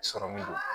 Sɔrɔmu don